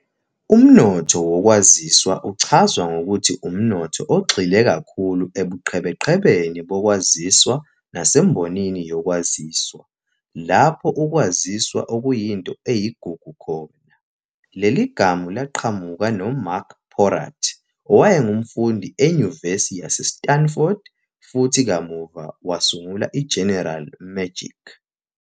Umnotho wokwaziswa uchazwa ngokuthi umnotho ogxile kakhulu ebuqhebeqhebeni bokwaziswa nasembonini yokwaziswa, lapho ukwaziswa okuyinto eyigugu khona. Leligama laqhamuka no-Marc Porat, owayengumfundi enyuvesi yaseStanford, futhi kamuva wasungula iGeneral Magic.